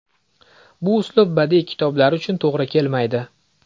Bu usul badiiy kitoblar uchun to‘g‘ri kelmaydi.